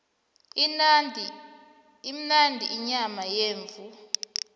imnandi inyama yemvu